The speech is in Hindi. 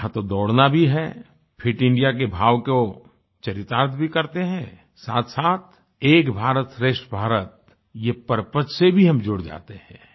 यहाँ तो दौड़ना भी है फिट इंडिया के भाव को चरितार्थ भी करते हैं साथसाथ एक भारत श्रेष्ठ भारत ये परपज से भी हम जुड़ जाते हैं